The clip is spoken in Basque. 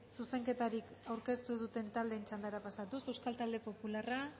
zuzenketarik aurkeztu duten taldeen txandara pasatuz euskal talde popularra